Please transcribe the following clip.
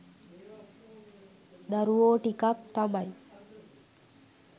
දරුවෝ ටිකක් තමයි